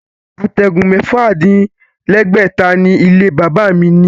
Àtẹ̀gùn mẹ́fà-dín- lẹ́gbẹ̀ta ni ilé-bàbá mi ní